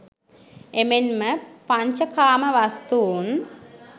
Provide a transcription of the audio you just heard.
එමෙන්ම පඤ්චකාම වස්තුන්